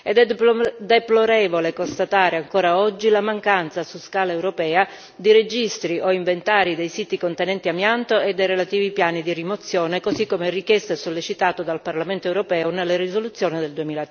È deplorevole constatare ancora oggi la mancanza su scala europea di registri o inventari dei siti contenenti amianto e dei relativi piani di rimozione, così come richiesto e sollecitato dal Parlamento europeo nella risoluzione del